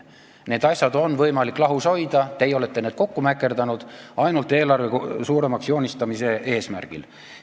Need asjad on võimalik lahus hoida, teie olete need kokku mäkerdanud ainult eelarve suuremaks joonistamise eesmärgil.